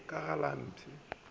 la ka ga le mpee